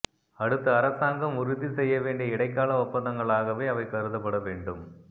அடுத்த அரசாங்கம் உறுதி செய்ய வேண்டிய இடைக்கால ஒப்பந்தங்களாகவே அவை கருதப்பட வேண்டும்